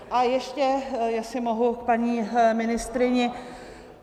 A ještě, jestli mohu, k paní ministryni.